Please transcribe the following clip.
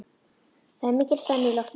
Það er mikil spenna í loftinu.